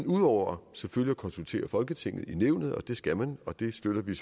ud over selvfølgelig at konsultere folketinget i nævnet for det skal man og det støtter vi